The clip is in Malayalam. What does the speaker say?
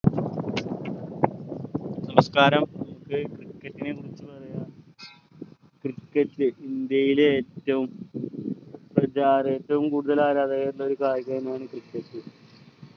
നമസ്കാരം നമുക്ക് cricket നെക്കുറിച്ചു പറയാം cricket ഇന്ത്യയിലെ ഏറ്റവും പ്രചാര ഏറ്റവും കൂടുതൽ ആരാധകരുള്ള ഒരു കായികമാണ് cricket